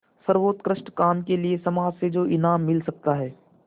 सर्वोत्कृष्ट काम के लिए समाज से जो इनाम मिल सकता है